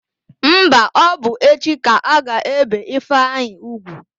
Mba, ọ bụ echi ka a ga-ébè Ifeanyị úgwù.